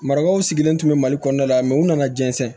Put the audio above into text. Marakaw sigilen tun bɛ mali kɔnɔna la u nana jɛnsɛn